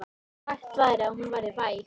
Sagt væri að hún væri væg.